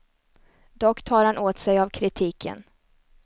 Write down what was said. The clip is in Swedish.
Dock tar han åt sig av kritiken.